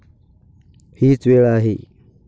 हीच वेळ आहे.